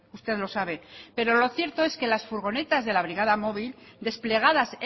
usted lo sabe pero lo cierto es que las furgonetas de la brigada móvil desplegadas